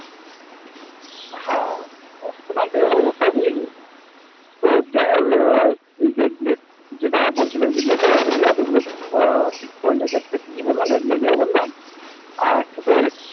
হ্যাঁ ধস তো নামতে পারে ওটা নিয়ে কি এই যে তোর যেটা বলছিলাম নেপালে এতগুলো checkpoint আছে। ওই যে তোর বললাম একনোলিয়া বললাম আর, একটা তোর ওই